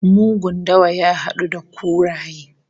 Mugun dawa ya hadu da kuraye